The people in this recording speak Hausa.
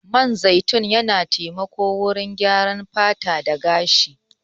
Man zaitun yana taimako wurin gyaran fata da gashi.